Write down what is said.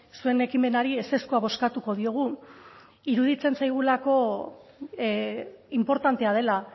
zuen ekimenari ezezkoa bozkatuko diogu iruditzen zaigulako inportantea dela